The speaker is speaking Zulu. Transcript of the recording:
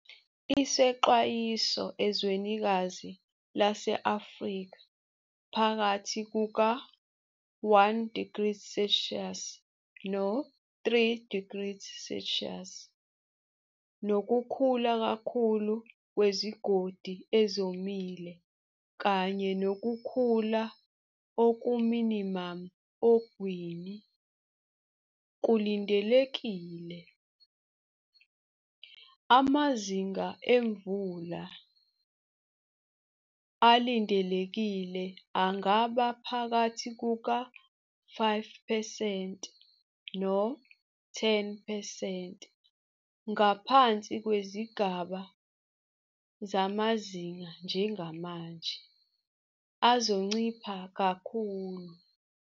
Isexwayiso ezwenikazi lase-Afrika phakathi kuka-1degrees Celsius no-3degrees Celsius, nokukhula kakhulu kwezigodi ezomile kanye nokukhula okuminimamu ogwini, kulindelekile. Amazinga emvula, ulindelekile angaba phakathi kuka-5 percent no-10 percent ngaphansi kwezigaba zamazinga njengamanje, azoncipha kakhulu.